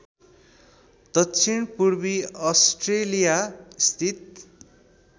दक्षिणपूर्वी अस्ट्रेलिया स्थित